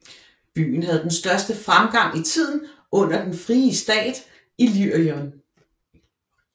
Byen havde den største fremgang i tiden under den frie stat Illyrien